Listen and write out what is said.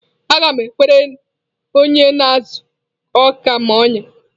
Aga m ekwere onye na-ezu ọka m ọnyá.